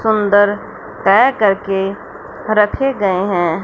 सुंदर तय करके रखे गए हैं।